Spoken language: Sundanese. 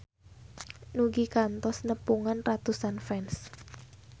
Nugie kantos nepungan ratusan fans